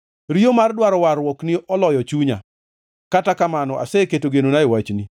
Riyo mar dwaro warruokni oloyo chunya, kata kamano aseketo genona e wachni.